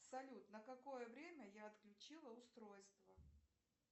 салют на какое время я отключила устройство